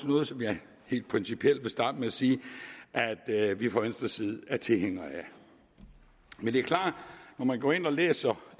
noget som jeg helt principielt vil starte med at sige at vi fra venstres side er tilhængere af men det er klart at man når man går ind og læser